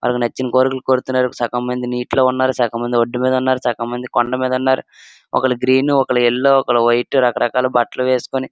ఆలకి నచ్చిన కోరికలు కోరుతున్నారు. సగం మంది నీటిలో ఉన్నారు. సగం మంది ఒడ్డు మీద ఉన్నారు. సగం మంది కొండ మీద ఉన్నారు. ఒకలు గ్రీన్ ఒకలు యెల్లో ఒకలు వైట్ రకరకాల బట్టలు వేసుకొని --